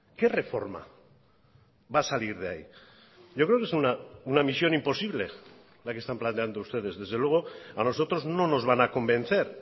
qué reforma va a salir de ahí yo creo que es una misión imposible la que están planteando ustedes desde luego a nosotros no nos van a convencer